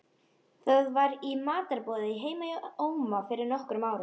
Það var í matarboði heima hjá Óma fyrir nokkrum árum.